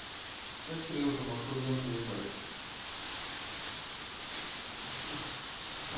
как трезвым ахуенно ебать